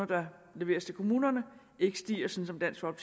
der leveres til kommunerne ikke stiger sådan som